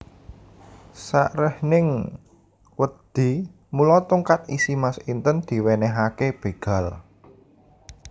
Saréhning wedi mula tongkat isi mas inten diwénéhaké bégal